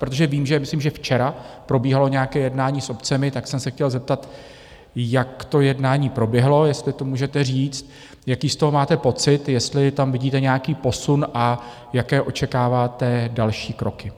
Protože vím, že - myslím, že včera - probíhalo nějaké jednání s obcemi, tak jsem se chtěl zeptat, jak to jednání proběhlo, jestli to můžete říct, jaký z toho máte pocit, jestli tam vidíte nějaký posun a jaké očekáváte další kroky.